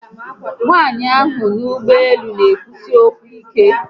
Nwaanyi ahu no n'ugboelu n'ekwusi okwu ike